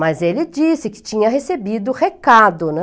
Mas ele disse que tinha recebido recado, né?